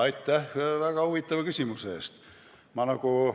Aitäh väga huvitava küsimuse eest!